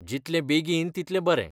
जितलें बेगीन तितलें बरें.